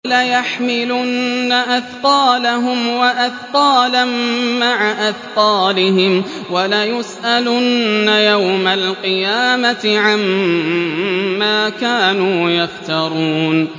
وَلَيَحْمِلُنَّ أَثْقَالَهُمْ وَأَثْقَالًا مَّعَ أَثْقَالِهِمْ ۖ وَلَيُسْأَلُنَّ يَوْمَ الْقِيَامَةِ عَمَّا كَانُوا يَفْتَرُونَ